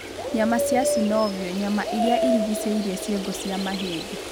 Nyama cia synovial(nyama iria irigicĩirie ciongo cia mahĩndĩ.